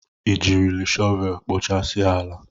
Ị jiri shọvelu koochasia ala?